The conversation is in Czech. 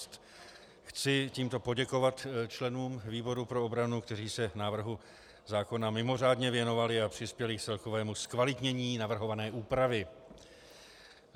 Chci tímto poděkovat členům výboru pro obranu, kteří se návrhu zákona mimořádně věnovali a přispěli k celkovému zkvalitnění navrhované úpravy.